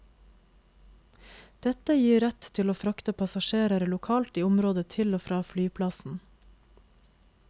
Dette gir rett til å frakte passasjerer lokalt i området til og fra flyplassen.